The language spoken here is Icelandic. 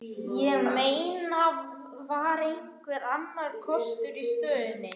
Ég meina, var einhver annar kostur í stöðunni?